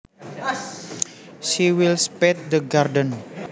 She will spade the garden